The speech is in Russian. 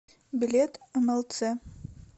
билет млц